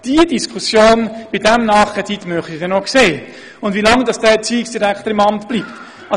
Die Diskussion über diesen Nachkredit würde ich ja gerne sehen und auch, wie lange ein solcher Erziehungsdirektor im Amt bleiben würde.